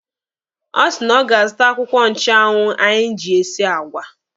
Ọ sị na ọ ga-azụta akwụkwọ nchụanwụ anyị ji esi àgwà.